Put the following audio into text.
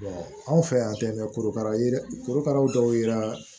anw fɛ yan tɛ mɛ korokara ye dɛ korokaraw dɔw yera